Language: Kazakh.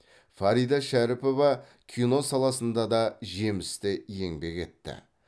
фарида шәріпова кино саласында да жемісті еңбек етті